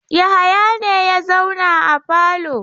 Yahaya ne ya zauna a falo.